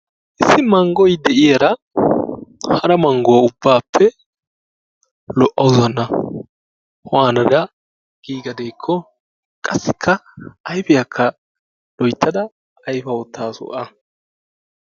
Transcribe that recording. Issi manggo de'yaara hara manguwaa ubbaappe lo'awssu hanna. Waanada gigadekko qassika ayfiyakka loyttada ayifa uutasu a.